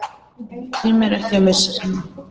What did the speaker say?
Tímir ekki að missa mig.